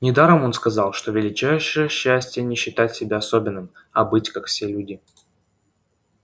недаром он сказал что величайшее счастье не считать себя особенным а быть как все люди